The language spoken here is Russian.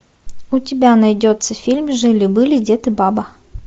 у тебя найдется фильм жили были дед и баба